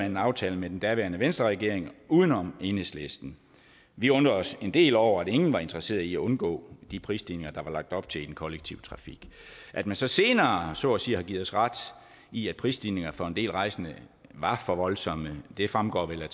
en aftale med den daværende venstreregering uden om enhedslisten vi undrede os en del over at ingen var interesseret i at undgå de prisstigninger der var lagt op til i den kollektive trafik at man så senere så at sige har givet os ret i at prisstigningerne for en del rejsende var for voldsomme fremgår vel af